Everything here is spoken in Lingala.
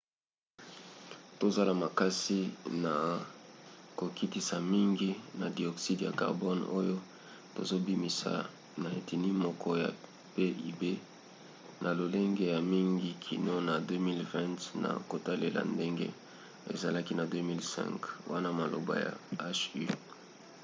tozosala makasi na kokitisa mingi ya dioxyde ya carbone oyo tozobimisa na eteni moko ya pib na lolenge ya mingi kino na 2020 na kotalela ndenge ezalaki na 2005 wana maloba ya hu